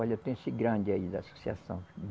Olha, tem esse grande aí da Associação.